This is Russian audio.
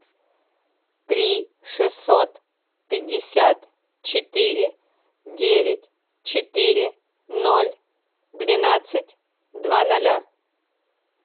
три шестьсот пятьдесят четыре девять четыре ноль двенадцать два ноля